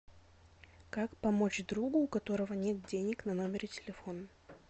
как помочь другу у которого нет денег на номере телефона